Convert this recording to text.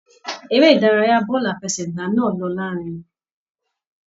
Eré ìdárayá bọọlu àfẹ́sẹ̀gbà náà ló larinrin.